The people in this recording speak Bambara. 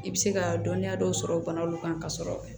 I bɛ se ka dɔnniya dɔw sɔrɔ banaw kan ka sɔrɔ